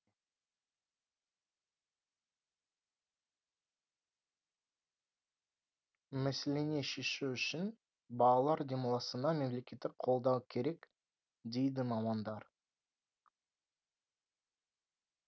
мәселені шешу үшін балалар демалысына мемлекеттік қолдау керек дейді мамандар